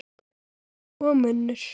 Og munnur